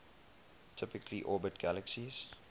typically orbit galaxies